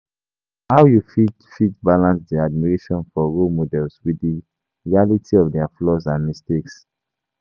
How you fit fit balance di admiration for role model with di reality of their flaws and mistakes?